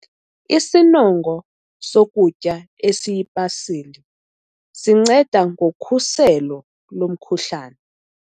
Isinongo sokutya esiyipasili sinceda ngokhuselo lomkhuhlane.